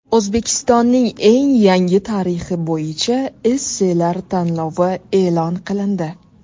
O‘zbekistonning eng yangi tarixi bo‘yicha esselar tanlovi e’lon qilindi.